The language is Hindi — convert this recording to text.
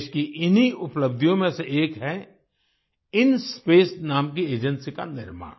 देश की इन्हीं उपलब्धियों में से एक है इंस्पेस नाम की एजेंसी का निर्माण